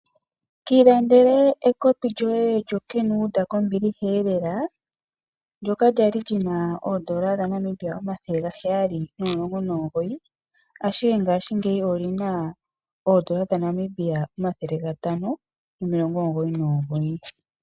Kiilandele ekopi lyoye lyoKenWood kombiliha elela, ndyoka lyali lina oondola dhaNamibia omathele gaheyali nomulongo nomugoyi, ashike ngaashingeyi olina owala oondola dhaNamibia omathele gatano, nomilongo omugoyi nomugoyi.